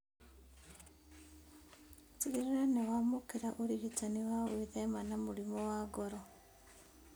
Tigĩrĩra nĩũramũkĩra ũrigitani wa gwĩthema na mũrimũ wa ngoro